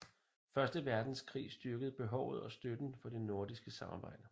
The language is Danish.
Første verdenskrig styrkede behovet og støtten for det nordiske samarbejde